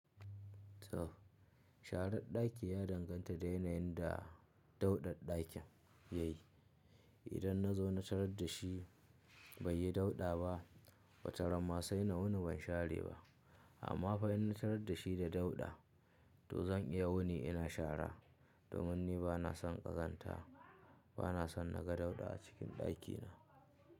Toh sharar ɗaki ya danganta da yanayin da dauɗaɗɗakin yayi. Idan na zo na tarar da shi bai yi dauɗa ba wataran ma sai na wuni ban share ba. Amma fa in na tarar da shi da dauɗa, to zan iya wuni ina shara domin ni bana son ƙazanta, bana son naga dauɗa a cikin ɗakina.